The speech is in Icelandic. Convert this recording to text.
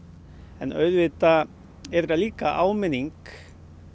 en auðvitað er þetta líka áminning